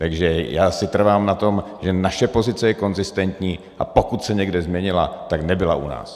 Takže já si trvám na tom, že naše pozice je konzistentní, a pokud se někde změnila, tak ne u nás.